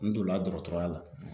N donna dɔgɔtɔrɔya la